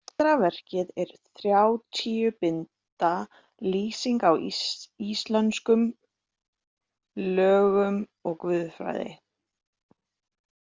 Síðara verkið er þrjátíu binda lýsing á íslömskum lögum og guðfræði.